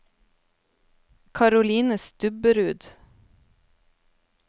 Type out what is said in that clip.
Caroline Stubberud